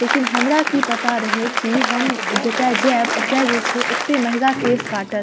लेकिन हमरा कि पता रहे कि हम जता जाब ओयता जे छै एते महंगा केश काटत।